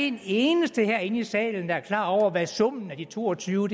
en eneste herinde i salen der er klar over hvad summen af de to og tyve